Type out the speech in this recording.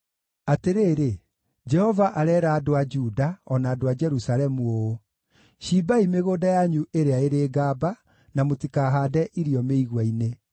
Atĩrĩrĩ, Jehova areera andũ a Juda, o na andũ a Jerusalemu ũũ: “Cimbai mĩgũnda yanyu ĩrĩa ĩrĩ ngamba, na mũtikahaande irio mĩigua-inĩ.